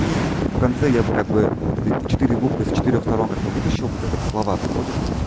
и в конце я бы как бы вот эти четыре буквы с четырёх сторон как бы вытащил бы как вот слова приходят